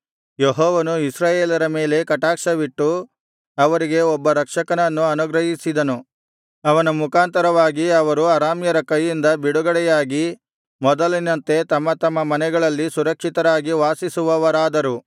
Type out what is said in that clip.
ಯೆಹೋವನು ಇಸ್ರಾಯೇಲರ ಮೇಲೆ ಕಟಾಕ್ಷವಿಟ್ಟು ಅವರಿಗೆ ಒಬ್ಬ ರಕ್ಷಕನನ್ನು ಅನುಗ್ರಹಿಸಿದನು ಅವನ ಮುಖಾಂತರವಾಗಿ ಅವರು ಅರಾಮ್ಯರ ಕೈಯಿಂದ ಬಿಡುಗಡೆಯಾಗಿ ಮೊದಲಿನಂತೆ ತಮ್ಮ ತಮ್ಮ ಮನೆಗಳಲ್ಲಿ ಸುರಕ್ಷಿತರಾಗಿ ವಾಸಿಸುವವರಾದರು